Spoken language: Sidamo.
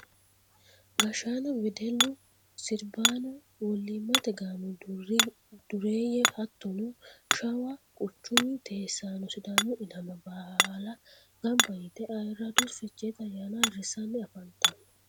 Gashshaano wedellu sirbano wolimate gaamo dureeye hattono shawa quchumu teesano sidaamu ilama baalla gamba yite ayirrado fichete ayyaanna ayirrisanni afantano.